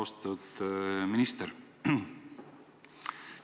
Austatud minister!